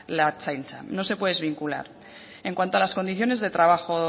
la ertzaintza no se puede desvincular en cuanto a las condiciones de trabajo